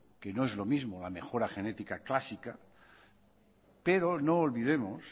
que no es lo mismo la mejora genética clásica pero no olvidemos